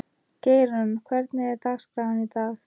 Geirrún, hvernig er dagskráin í dag?